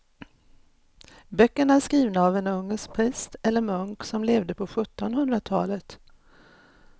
Böckerna är skrivna av en ungersk präst eller munk som levde på sjuttonhundratalet.